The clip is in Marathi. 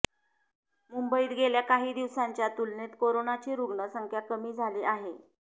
मुंबईत गेल्या काही दिवसांच्या तुलनेत कोरोनाची रुग्णसंख्या कमी झाली आहे